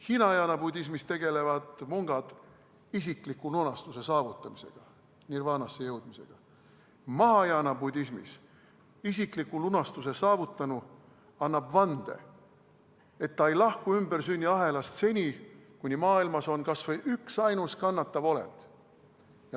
Hinajaana budismis tegelevad mungad isikliku lunastuse saavutamisega, nirvaanasse jõudmisega, mahajaana budismis annab isikliku lunastuse saavutanu vande, et ta ei lahku ümbersünniahelast seni, kuni maailmas on kas või üksainus kannatav olend.